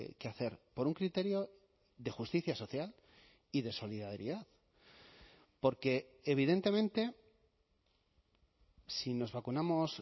que hacer por un criterio de justicia social y de solidaridad porque evidentemente si nos vacunamos